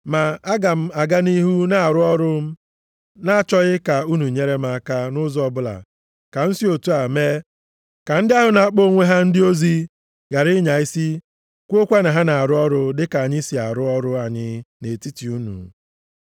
Ma aga m aga nʼihu na-arụ ọrụ m na-achọghị ka unu nyere m aka nʼụzọ ọbụla ka m si otu a mee ka ndị ahụ na-akpọ onwe ha ndị ozi ghara ịnya isi kwuokwa na ha na-arụ ọrụ dịka anyị si arụ ọrụ anyị nʼetiti unu.